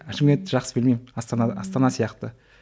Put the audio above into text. шымкентті жақсы білмеймін астана астана сияқты